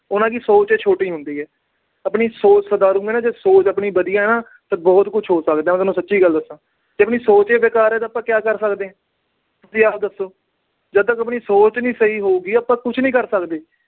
ਉਹਨਾਂ ਦੀ ਸੋਚ ਛੋਟੀ ਹੁੰਦੀ ਆ। ਆਪਣੀ ਸੋਚ ਸੁਚਾਰੂ ਆ ਨਾ, ਸੋਚ ਆਪਣੀ ਵਧੀਆ, ਤਾਂ ਬਹੁਤ ਕੁਛ ਹੋ ਸਕਦਾ। ਮੈਂ ਤੁਹਾਨੂੰ ਸੱਚੀ ਗੱਲ ਦੱਸਾ। ਜੇ ਆਪਣੀ ਸੋਚ ਈ ਬੇਕਾਰ ਆ, ਤਾਂ ਆਪਾ ਕੀ ਕਰ ਸਕਦੇ ਆ। ਤੁਸੀਂ ਆਪ ਦੱਸੋ। ਜਦੋਂ ਤੱਕ ਆਪਣੀ ਸੋਚ ਨੀ ਸਹੀ ਹੋਊਗੀ, ਆਪਾ ਕੁਛ ਨੀ ਕਰ ਸਕਦੇ।